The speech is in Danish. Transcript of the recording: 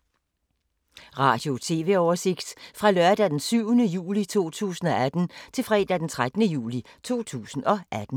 Radio/TV oversigt fra lørdag d. 7. juli 2018 til fredag d. 13. juli 2018